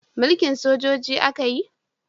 Mulkin sojoji a ka yi